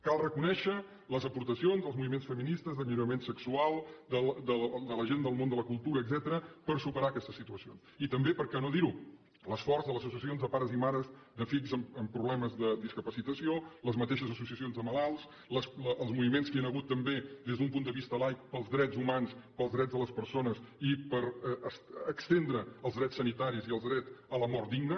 cal reconèixer les aportacions dels moviments feministes d’alliberament sexual de la gent del món de la cultura etcètera per superar aquestes situacions i també per què no dir ho l’esforç de les associacions de pares i mares de fills amb problemes de discapacitació les mateixes associacions de malalts els moviments que hi han hagut també des d’un punt de vista laic pels drets humans pels drets de les persones i per estendre els drets sanitaris i el dret a la mort digna